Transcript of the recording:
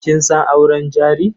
Kin san auren jari?